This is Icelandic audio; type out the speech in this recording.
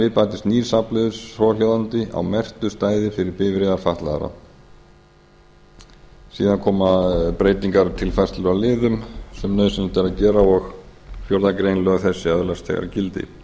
við bætist nýr stafliður svohljóðandi á merktu stæði fyrir bifreiðir fatlaðra síðan koma breytingar tilfærslur á liðum sem nauðsynlegt er að gera og fjórðu greinar öðlast þegar gildi